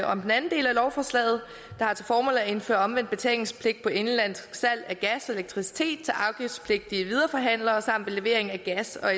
om den anden del af lovforslaget der har til formål at indføre omvendt betalingspligt på indenlandsk salg af gas og elektricitet til afgiftspligtige videreforhandlere samt på levering af gas og